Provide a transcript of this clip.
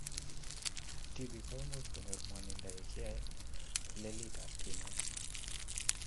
Tpik koimuch konyor mwonindo ya kiae liletab kinet